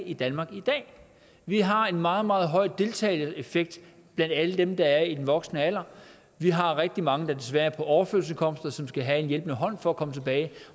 i danmark i dag vi har en meget meget høj deltagereffekt blandt alle dem der er i den voksne alder vi har rigtig mange der desværre er på overførselsindkomst og som skal have en hjælpende hånd for at komme tilbage